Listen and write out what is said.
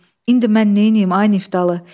İndi mən neynəyim, ay Niftalı?